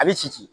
A bɛ si